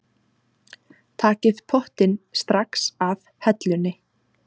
Takið pottinn strax af hellunni.